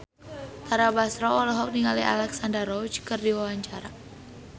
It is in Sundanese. Tara Basro olohok ningali Alexandra Roach keur diwawancara